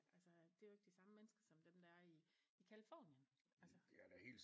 Altså at det er jo ikke de samme mennesker som dem der er i i Californien altså